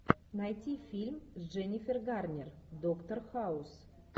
найти фильм с дженнифер гарнер доктор хаус